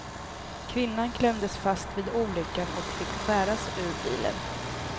Kvinnan klämdes fast vid olyckan och fick skäras ur bilen.